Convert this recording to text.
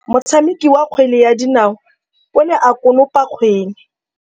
Motshameki wa kgwele ya dinaô o ne a konopa kgwele.